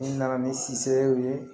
N nana ni ye